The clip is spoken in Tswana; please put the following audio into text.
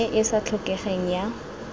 e e sa tlhokegeng ya